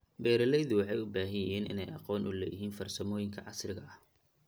Beeraleydu waxay u baahan yihiin inay aqoon u leeyihiin farsamooyinka casriga ah.